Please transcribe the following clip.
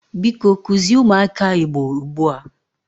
Biko kuzie umuaka Igbo ugbua!